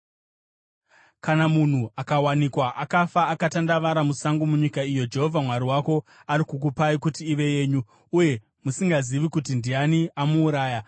Kana munhu akawanikwa akafa, akatandavara musango munyika iyo Jehovha Mwari wako ari kukupai kuti ive yenyu, uye musingazivi kuti ndiani amuuraya,